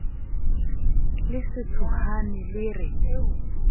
le se tshohane le re